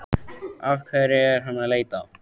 Að hverju er hann að leita?